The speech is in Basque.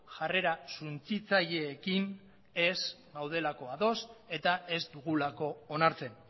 jarrera suntsitzaileekin ez gaudelako ados eta ez dugulako onartzen